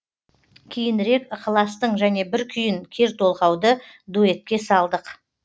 кейінірек ықыластың және бір күйін кер толғауды дуэтке салдық